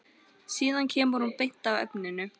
Síðan kemur hún sér beint að efninu.